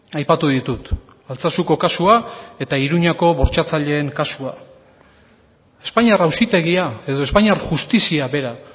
aipatu ditut altsasuko kasua eta iruñeako bortxatzaileen kasua espainiar auzitegia edo espainiar justizia bera